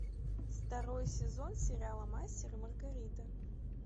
второй сезон сериала мастер и маргарита